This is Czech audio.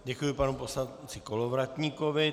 Děkuji panu poslanci Kolovratníkovi.